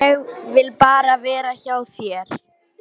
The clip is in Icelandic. Ég vil bara vera hjá þér.